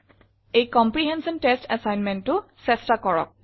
এই comprehension test assignmentটো চেষ্টা কৰক